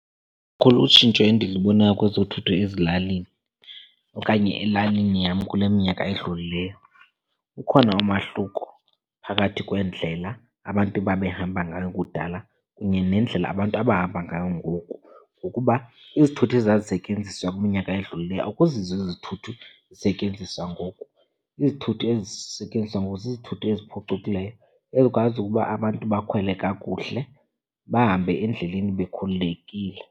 Lukhulu utshintsho endilibonayo kwezothutho ezilalini okanye elalini yam kule minyaka edlulileyo. Ukhona umahluko phakathi kweendlela abantu babehamba ngayo kudala kunye nendlela abantu abahamba ngayo ngoku, ngokuba izithuthi ezazisentyenziswa kwiminyaka edlulileyo akuzizo izithuthi ezisetyenziswa ngoku. Izithuthi ezisentyenziswa ngoku zizithuthi eziphucukileyo ezikwazi ukuba abantu bakhwele kakuhle bahambe endleleni bekhululekile.